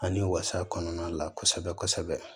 Ani wasa kɔnɔna la kosɛbɛ kosɛbɛ